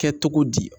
Kɛ cogo di